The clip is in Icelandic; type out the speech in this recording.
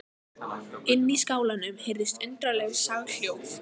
Inni í skálanum heyrðust undarleg soghljóð.